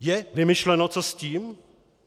Je vymyšleno, co s tím?